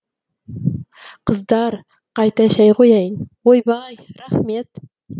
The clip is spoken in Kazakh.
қыздар қайта шәй қояйын ойбай рахмет